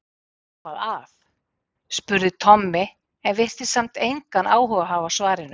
Er eitthvað að? spurði Tommi en virtist samt engan áhuga hafa á svarinu.